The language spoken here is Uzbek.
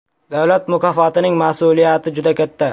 Davlat mukofotining mas’uliyati juda katta.